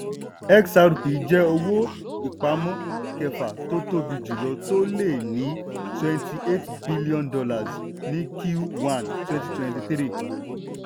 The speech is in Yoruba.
xrp jẹ́ owó-ìpamọ́ kẹfà tó tóbi jùlọ tó lé ní twenty eight billion dollars ní q one twenty twenty three